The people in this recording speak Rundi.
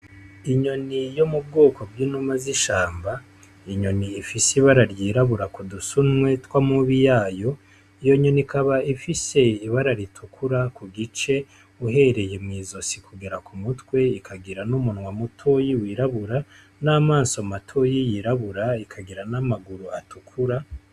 Inyoni yo mu bwoko bw'inuma z'ishamba, inyoni ifise ibara ry'irabura ku dusunwe tw'amubi yayo, iyo nyoni ikaba ifise ibara ritukura ku gice, uhereye mu izosi kugera ku mutwe, ikagira n'umunwa mutoyi wirabura n'amaso matoyi yirabura, ikagira n'amaguru atukura.